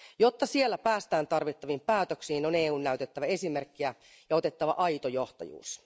Jotta siellä päästään tarvittaviin päätöksiin, on EUn näytettävä esimerkkiä ja otettava aito johtajuus.